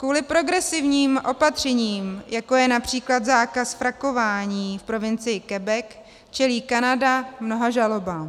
Kvůli progresivním opatřením, jako je například zákaz frakování v provincii Quebec, čelí Kanada mnoha žalobám.